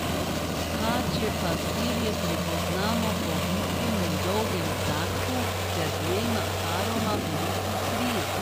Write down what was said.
Kačje pastirje prepoznamo po vitkem in dolgem zadku ter dvema paroma velikih kril.